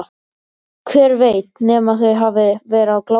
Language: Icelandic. Hver veit nema þau hafi verið á glápinu.